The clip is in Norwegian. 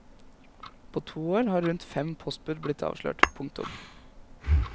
På to år har rundt fem postbud blitt avslørt. punktum